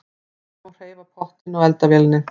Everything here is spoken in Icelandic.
Ekki má hreyfa pottinn á eldavélinni.